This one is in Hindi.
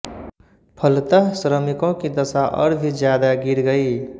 फलतः श्रमिकों की दशा और भी ज्यादा गिर गई